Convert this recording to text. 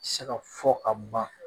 Saga ka fɔ ka ban